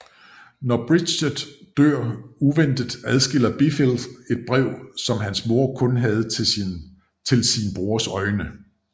Når Bridget dør uventet adskiller Blifil et brev som hans mor kun havde til sin brors øjne